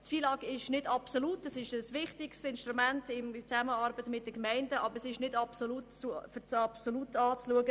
Das FILAG ist ein wichtiges Instrument für die Zusammenarbeit mit den Gemeinden, aber es ist nicht als absolut zu betrachten.